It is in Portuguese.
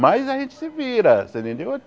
Mas a gente se vira, você entendeu?